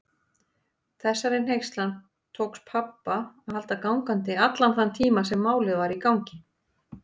Þessari hneykslan tókst pabba að halda allan þann tíma sem Málið var í gangi.